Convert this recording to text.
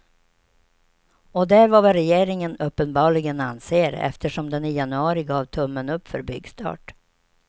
Och det är vad regeringen uppenbarligen anser, eftersom den i januari gav tummen upp för byggstart.